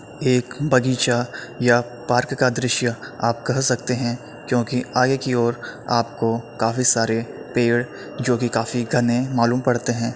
एक बगीचा या पार्क का दृश्य आप कह सकते हैं क्योंकि आगे की ओर आपको काफी सारे पेड़ जोकि काफी घने मालूम पड़ते हैं।